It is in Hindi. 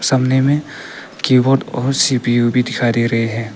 करने में कीबोर्ड और सी_पी_यू भी दिखाई दे रहे हैं।